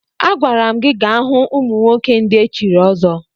Agwara m gi gaa hụ ụmụnwoke ndị echiri ọzọ!